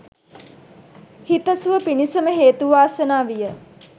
සිත සුව පිණිසම හේතු වාසනා විය.